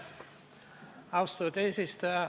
Austatud eesistuja!